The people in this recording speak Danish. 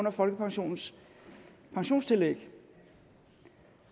af folkepensionens pensionstillæg